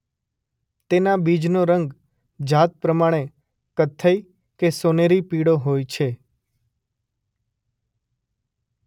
તેનાં બીજનો રંગ જાત પ્રમાણે કથ્થઈ કે સોનેરી પીળો હોય છે.